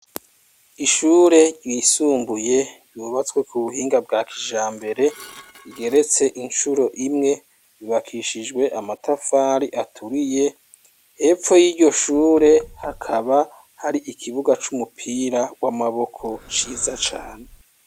Ishure ryisumbuye, ryubatswe ku buhinga bwa kijambere, igeretse incuro imwe, yubakishijwe amatafari aturiye; hepfo y'iryo shure, hakaba hari ikibuga c'umupira w'amaboko, ciza cane.